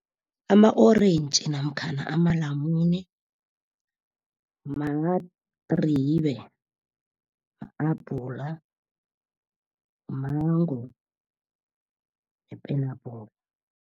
Ama-orentji namkhana amalamune, madribe, ma-abhula, mango, ipenabhula.